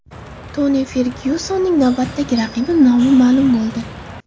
Toni Fergyusonning navbatdagi raqibi nomi ma’lum bo‘ldi.